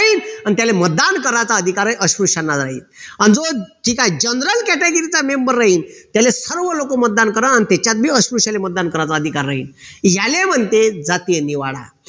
अन त्याले मतदान करण्याचा अधिकार आहे अस्पृश्याना अन जो ठीक आहे general category चा member राहील त्याला सर्व लोक मतदान करलं त्याच्यात बी अस्पृश्याले मतदान करायचा अधिकार राहील याले म्हणते जातीय निवाडा